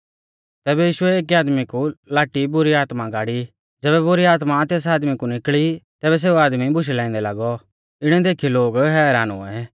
तैबै यीशुऐ एकी आदमी कु लाटी बुरी आत्मा गाड़ी ज़ैबै बुरी आत्मा तेस आदमी कु निकल़ी तैबै सेऊ आदमी बुशै लाइंदै लागौ इणै देखीयौ लोग हैरान हुऐ